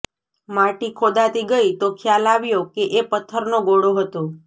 માટી ખોદાતી ગઈ તો ખ્યાલ આવ્યો કે એ પથ્થરનો ગોળો હતો